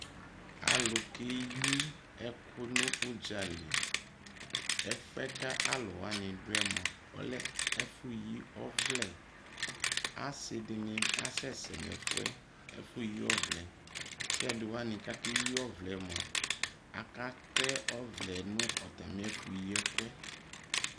alo keyi ɛko no udzali ɛfue ko alo wani doɛ moa, ɔlɛ ɛfu yi ɔvlɛ asi di ni asɛsɛ no ɛfuɛ, ɛfu yi ɔvlɛ ko ɛdi wani ka keyi ɔvlɛ moa, aka tɛ ɔvlɛ no atame ɛfu yi ɛkuɛ